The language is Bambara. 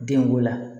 Denko la